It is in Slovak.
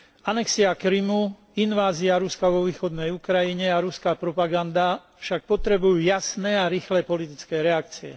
Anexia Krymu, invázia Ruska vo východnej Ukrajine a ruská propaganda však potrebujú jasné a rýchle politické reakcie.